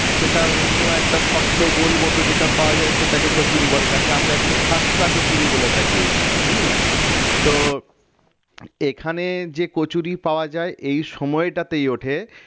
সেটা অন্য একটা শক্ত গোল মত যেটা পাওয়া যায় সেটাকে কচুরি বলে যাকে আমরা এখানে খাসটা কচুরি বলে থাকি হম তো এখানে যে কচুরি পাওয়া যায় এই সময়টাতেই ওঠে